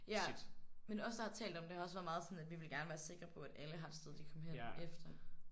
Ja men os der har talt om det har også været meget sådan at vi gerne ville være sikre på at alle har et sted de kan komme hen efter